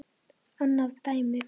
Annað dæmi.